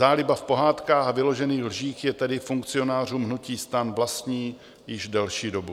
Záliba v pohádkách a vyložených lžích je tedy funkcionářům hnutí STAN vlastní již delší dobu.